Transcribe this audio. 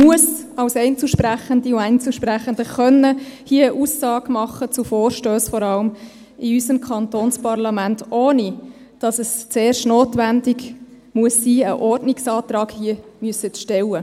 Als Einzelsprechende und Einzelsprechender sollte man hier in unserem Kantonsparlament eine Aussage zu Vorstössen machen ohne dass es zuerst notwendig sein muss, einen Ordnungsantrag zu stellen.